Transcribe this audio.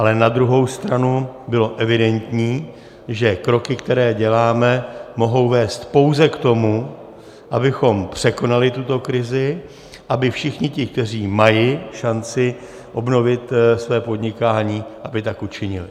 Ale na druhou stranu bylo evidentní, že kroky, které děláme, mohou vést pouze k tomu, abychom překonali tuto krizi, aby všichni ti, kteří mají šanci obnovit své podnikání, aby tak učinili.